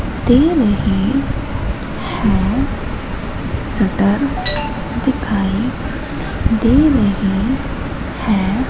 तेल है है शटर दिखाई दे रहे है।